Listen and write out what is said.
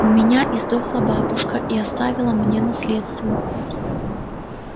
у меня издохла бабушка и оставила мне наследство